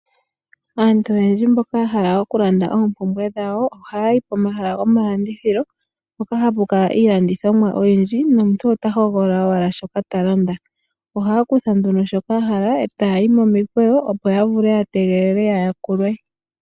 Aantu oyendji mboka yahala okulanda oompumbwe dhawo, ohaya yi pomahala gomalandithilo mpoka hapu kala iilandithomwa oyindji nomuntu ota hogolola owala shoka ta landa. Ohaya kutha nduno shoka ya hala e taya yi momikweyo opo ya vule ya tegelele ya yakulwe.